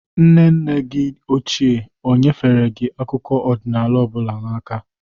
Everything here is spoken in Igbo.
Nne nne gi ochie o nyefere gi akụkụ ọdịnala ọbụla n'aka?